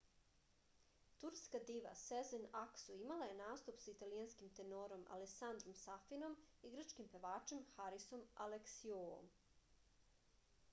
turska diva sezen aksu imala je nastup sa italijanskim tenorom alesandrom safinom i grčkim pevačem harisom aleksiuoum